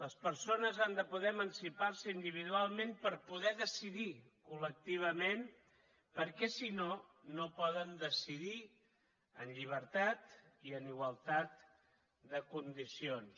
les persones han de poder emancipar se individualment per poder decidir col·lectivament perquè si no no poden decidir en llibertat i en igualtat de condicions